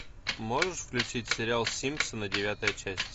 можешь включить сериал симпсоны девятая часть